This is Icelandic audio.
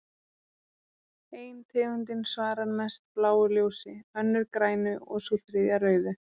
Ein tegundin svarar mest bláu ljósi, önnur grænu og sú þriðja rauðu.